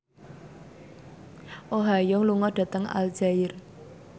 Oh Ha Young lunga dhateng Aljazair